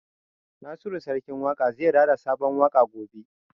Nasiru Sarkin Waƙa zai rera sabon waƙa gobe